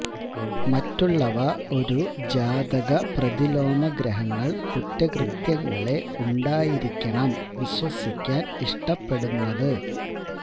മറ്റുള്ളവ ഒരു ജാതക പ്രതിലോമ ഗ്രഹങ്ങൾ കുറ്റകൃത്യങ്ങളെ ഉണ്ടായിരിക്കണം വിശ്വസിക്കാൻ ഇഷ്ടപ്പെടുന്നത്